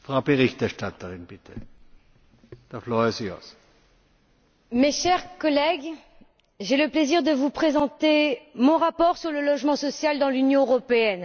Monsieur le Président, mes chers collègues, j'ai le plaisir de vous présenter mon rapport sur le logement social dans l'Union européenne.